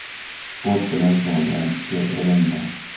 Sport bilan shug‘ullanishga erinma.